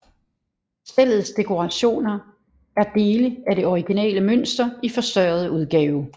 Stellets dekorationer er dele af det originale mønster i forstørret udgave